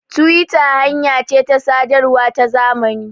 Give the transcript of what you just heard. tiwita hanya ce ta sadarwa ta zamani